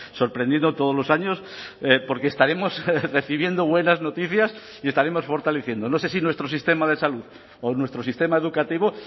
sorprendido todos los años porque estaremos recibiendo buenas noticias y estaremos fortaleciendo no sé si nuestro sistema de salud o nuestro sistema educativo